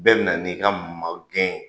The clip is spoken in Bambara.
Bɛɛ bi na n'i ka magɛn ye.